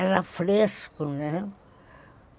Era fresco, né?